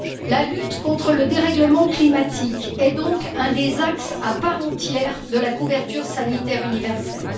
La lutte contre le dérèglement climatique est donc un des axes à part entière de la couverture sanitaire universelle.